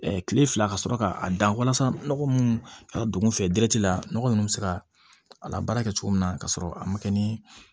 kile fila ka sɔrɔ k'a dan walasa nɔgɔ munnu ka don kun fɛ la nɔgɔ nunnu bi se ka a labaara kɛ cogo min na ka sɔrɔ a ma kɛ ni